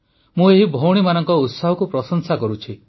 ମୁଁ ଏହି ଭଉଣୀମାନଙ୍କ ଉତ୍ସାହକୁ ପ୍ରଶଂସା କରୁଛି